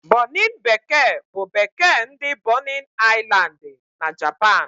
Bonịn bekee bụ bekee nke ndị Bonin Aịlandị na Japan.